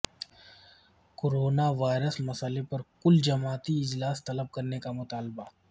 corona virus مسئلہ پر کل جماعتی اجلاس طلب کرنے کا مطالبہ